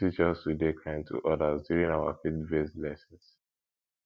dem teach us to dey kind to others during our faithbased lessons